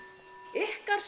ykkar